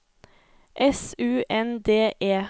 S U N D E